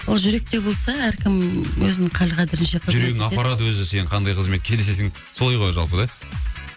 ол жүректе болса әркім өзінің хал қадірінше жүрегің апарады өзі сені қандай қызметке солай ғой жалпы да